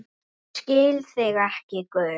Ég skil þig ekki, Guð.